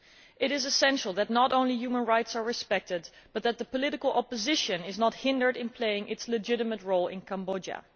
It is essential not only that human rights are respected but that the political opposition is not hindered in playing its legitimate role in Cambodia.